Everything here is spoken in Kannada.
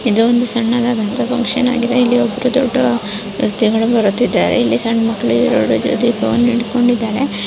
ಇದು ಒಂದು ಸನ್ನಡದ್ ಫುಕ್ಷನ್ ಆಗಿದೆ ಇಲ್ಲಿ ಒಬ್ರು--